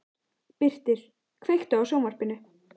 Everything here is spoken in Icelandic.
Birtir, kveiktu á sjónvarpinu.